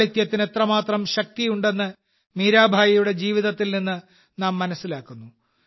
ലാളിത്യത്തിന് എത്രമാത്രം ശക്തിയുണ്ടെന്ന് മീരാഭായിയുടെ ജീവിതത്തിൽ നിന്ന് നാം മനസ്സിലാക്കുന്നു